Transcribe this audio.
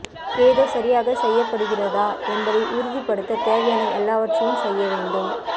ஏதோ சரியாக செய்யப்படுகிறதா என்பதை உறுதிப்படுத்த தேவையான எல்லாவற்றையும் செய்ய வேண்டும்